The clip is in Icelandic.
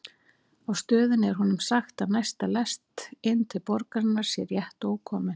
Á stöðinni er honum sagt að næsta lest inn til borgarinnar sé rétt ókomin.